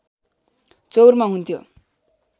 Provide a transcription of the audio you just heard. चौरमा हुन्थ्यो